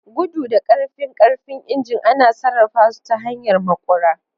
Gudu da ƙarfin ƙarfin injin ana sarrafa su ta hanyar maƙura.